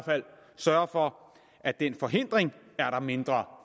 sørge for at den forhindring er der mindre